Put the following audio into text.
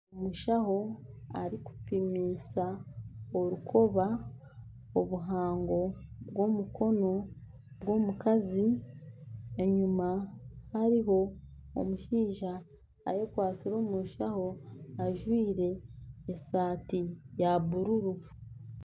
Omushaho arikupimisa orukoba obuhango bw'omukono gw'omukazi, enyima hariho omushaija ayekwatsire omu nshaho ajwire esaati ya bururu